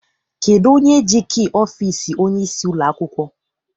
Kedụ onye ji kii ọfịịsi onyeisi ụlọakwụkwọ?